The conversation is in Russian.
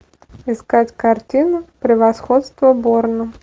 искать картину превосходство борна